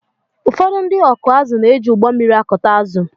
ụfọdụ ndị ọkụ ázụ na-éji ụgbọmmiri ákùtá ázụ